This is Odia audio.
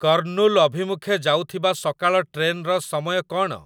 କର୍ଣ୍ଣୁଲ ଅଭିମୁଖେ ଯାଉଥିବା ସକାଳ ଟ୍ରେନ୍‌ର ସମୟ କ'ଣ?